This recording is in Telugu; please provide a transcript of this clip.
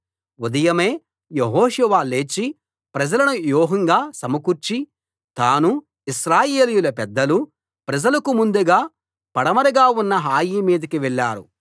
ఉదయమే యెహోషువ లేచి ప్రజలను వ్యూహంగా సమకూర్చి తానూ ఇశ్రాయేలీయుల పెద్దలూ ప్రజలకు ముందుగా పడమరగా ఉన్న హాయి మీదికి వెళ్ళారు